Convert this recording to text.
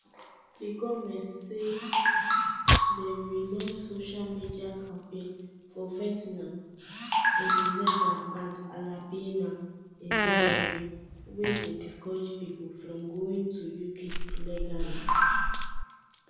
di goment say dem relaunch social media campaign for vetnam in december and alabania in january wey go discourage pipo from going to uk illegally.